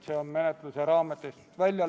Head kolleegid!